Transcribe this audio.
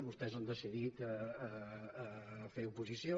vostès han decidit fer oposició